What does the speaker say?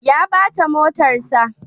Ya bata motarsa.